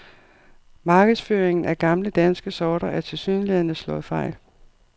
Markedsføringen af gamle danske sorter er tilsyneladende slået fejl.